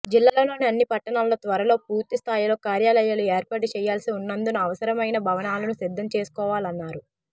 జిల్లాలోని అన్ని పట్టణాల్లో త్వరలో పూర్తిస్థాయిలో కార్యాలయాలు ఏర్పాటు చేయాల్సి ఉన్నందున అవసరమైన భవనాలను సిద్ధం చేసుకోవాలన్నారు